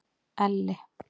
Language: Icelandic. Elli